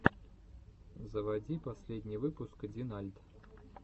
заводи последний выпуск динальт